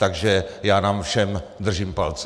Takže já nám všem držím palce.